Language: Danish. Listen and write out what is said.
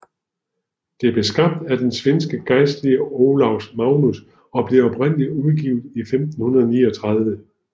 Det blev skabt af den svenske gejstlige Olaus Magnus og blev oprindeligt udgivet i 1539